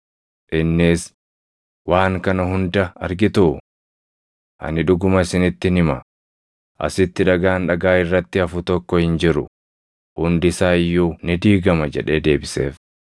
Innis, “Waan kana hunda argituu? Ani dhuguma isinittin hima; asitti dhagaan dhagaa irratti hafu tokko hin jiru; hundi isaa iyyuu ni diigama” jedhee deebiseef.